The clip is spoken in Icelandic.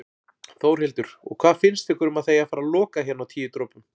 Þórhildur: Og hvað finnst ykkur um að það eigi að fara loka hérna Tíu dropum?